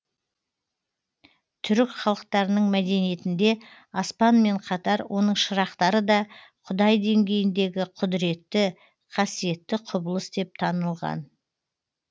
түрік халықтарының мәдениетінде аспанмен қатар оның шырақтары да құдай деңгейіндегі құдіретті қасиетті құбылыс деп танылған